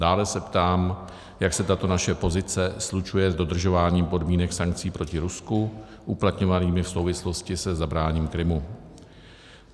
Dále se ptám, jak se tato naše pozice slučuje s dodržováním podmínek sankcí proti Rusku uplatňovanými v souvislosti se zabráním Krymu.